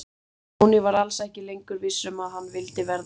Stjáni var alls ekki lengur viss um að hann vildi verða bóndi.